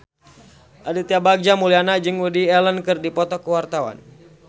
Aditya Bagja Mulyana jeung Woody Allen keur dipoto ku wartawan